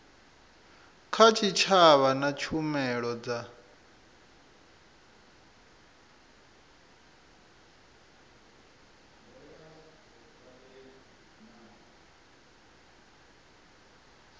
kha tshitshavha na tshumelo dza